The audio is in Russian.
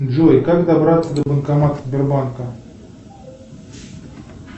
джой как добраться до банкомата сбербанка